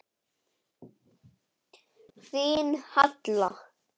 Þín Halla.